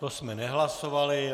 To jsme nehlasovali.